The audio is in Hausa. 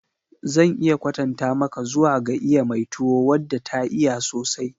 Zan iya kwatanta maka zuwa ga iya mai tuwo wadda ta iya sosai.